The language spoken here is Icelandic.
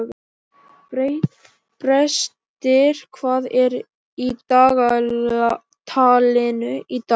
Brestir, hvað er í dagatalinu í dag?